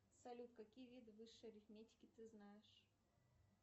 салют какие виды высшей арифметики ты знаешь